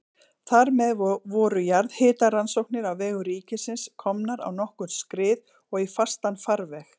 Þar með voru jarðhitarannsóknir á vegum ríkisins komnar á nokkurn skrið og í fastan farveg.